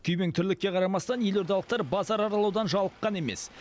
күйбең тірлікке қарамастан елордалықтар базар аралаудан жалыққан емес